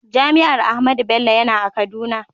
Jami'ar Ahmadu Bello yana a kaduna.